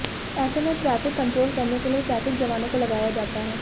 ऐसे में traffic control करने के लिए ट्रैफिक जवानों को लगाया जाता है